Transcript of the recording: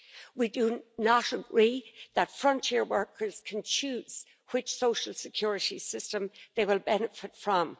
We do not agree that frontier workers can choose which social security system they will benefit from.